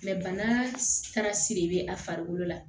bana kana siri be a farikolo la